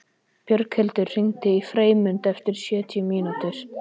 Björghildur, hringdu í Freymund eftir sjötíu mínútur.